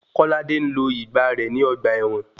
Kọ́ládé ń lo ìgbà rẹ ní ọgbà ẹ̀wọ̀n.